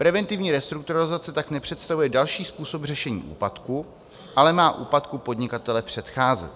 Preventivní restrukturalizace tak nepředstavuje další způsob řešení úpadku, ale má úpadku podnikatele předcházet.